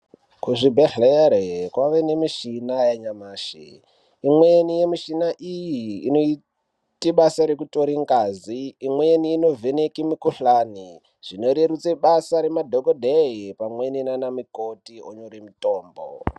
Kuzvibhedhlera kwakuwanikwa mishina yanyamashi imweni yemuchina iyi inoita basa rekutora ngazi imweni inovheneka mukuhlani imorerutsa basa remadhokedheya pamweni nana mukoti onyora mitombo.